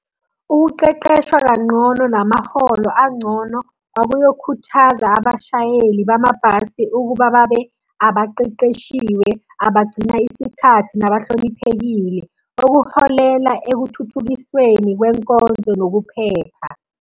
Ukuqeqeshwa kanqono namaholo angcono, akuyokhuthaza abashayeli bamabhasi ukuba babe abaqeqeshiwe, abagcina isikhathi, nabahloniphekile. Okuholela ekuthuthukisweni kwenkonzo nokuphepha.